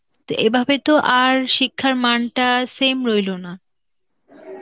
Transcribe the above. তো এভাবে তো আর শিক্ষার মানটা same রইল না.